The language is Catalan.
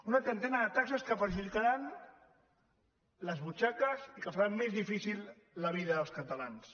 una trentena de taxes que perjudicaran les butxaques i que faran més difícil la vida dels catalans